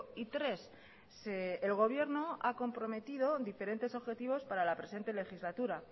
y tres el gobierno ha comprometido diferentes objetivos para la presente legislatura